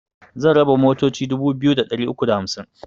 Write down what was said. Zan raba motoci dubu biyu da ɗari uku da hamsin